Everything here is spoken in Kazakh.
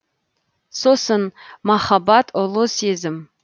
сосын махаббат ұлы сезім